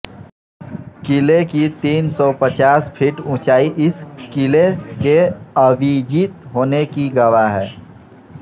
किले की तीन सौ पचास फीट उंचाई इस किले के अविजित होने की गवाह है